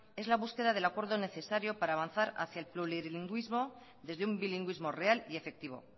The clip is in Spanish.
es la búsqueda del acuerdo necesario para avanzar hacia el plurilingüismo desde un bilingüismo real y efectivo